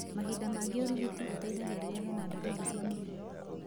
Mahinda maingĩ ũrigiti ũteithagia rĩrĩa hena dariri cia mũrimũ.